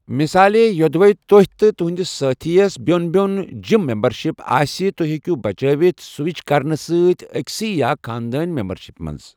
مثالے، یوٚدوے تۅہہِ تہٕ تہُنٛدِس سٲتھی یس بیوٚن بیوٚن جم مِمبرشِپس آسہِ، تُہۍ ہیٚکِو بچٲوِتھ سوِچ کرنہٕ ستۍ أکۍ سےٕ یا خاندٲنی ممبرشِپہِ منٛز۔